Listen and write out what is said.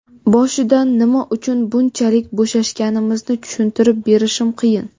Boshidan nima uchun bunchalik bo‘shashganimizni tushuntirib berishim qiyin.